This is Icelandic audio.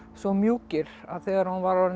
svo mjúkir að þegar hún var